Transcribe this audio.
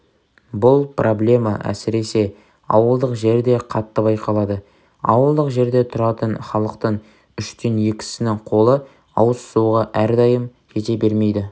бұл проблема әсіресе ауылдық жерде қатты байқалады ауылдық жерде тұратын халықтың үштен екісінің қолы ауыз суға әрдайым жете бермейді